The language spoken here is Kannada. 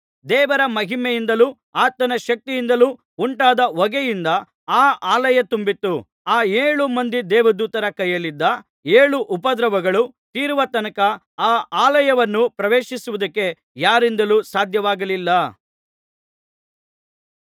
ದೇವರ ಮಹಿಮೆಯಿಂದಲೂ ಆತನ ಶಕ್ತಿಯಿಂದಲೂ ಉಂಟಾದ ಹೊಗೆಯಿಂದ ಆ ಆಲಯ ತುಂಬಿತ್ತು ಆ ಏಳು ಮಂದಿ ದೇವದೂತರ ಕೈಯಲ್ಲಿದ್ದ ಏಳು ಉಪದ್ರವಗಳು ತೀರುವ ತನಕ ಆ ಆಲಯವನ್ನು ಪ್ರವೇಶಿಸುವುದಕ್ಕೆ ಯಾರಿಂದಲೂ ಸಾಧ್ಯವಾಗಲಿಲ್ಲ